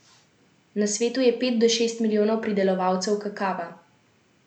Na svetu je pet do šest milijonov pridelovalcev kakava.